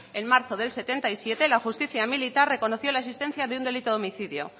en marzo del setenta y siete la justicia militar reconoció la existencia de un delito de homicidio